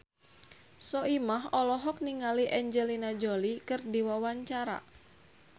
Soimah olohok ningali Angelina Jolie keur diwawancara